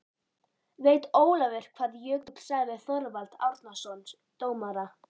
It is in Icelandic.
Veit Ólafur hvað Jökull sagði við Þorvald Árnason dómara?